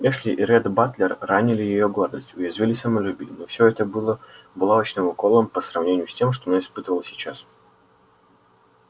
эшли и ретт батлер ранили её гордость уязвили самолюбие но всё это было булавочным уколом по сравнению с тем что она испытывала сейчас